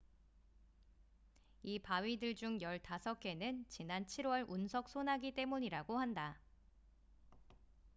이 바위들 중 15개는 지난 7월 운석 소나기 때문이라고 한다